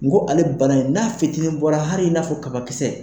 N ko ale bana in n'a fitinin bɔra hali in n'a fɔ kabakisɛ.